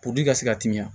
ka se ka teliya